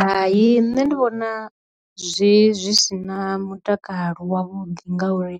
hai nṋe ndi vhona zwi zwi sina mutakalo wavhuḓi ngauri,